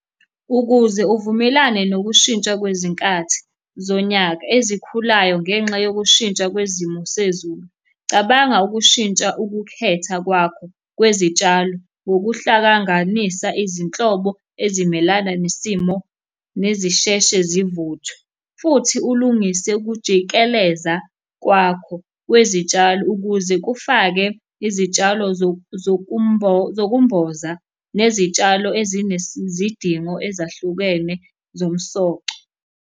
Ukuze uvumelane nokushintsha kwezinkathi zonyaka ezikhulayo ngenxa yokushintsha kwezimo sezulu, cabanga ukushintsha ukukhetha kwakho kwezitshalo ngokuhlanganisa izinhlobo ezimelana nesimo nezisheshe zivuthwe, futhi ulungise ukujikeleza kwakho kwezitshalo ukuze kufake izitshalo zokumboza nezitshalo ezinezidingo ezahlukene zomsoco.